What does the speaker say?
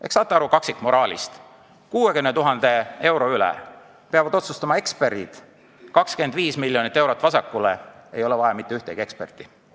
Ehk saate aru kaksikmoraalist: 60 000 euro üle peavad otsustama eksperdid, kui jagatakse 25 miljonit eurot vasakule, ei ole vaja mitte ühtegi eksperti.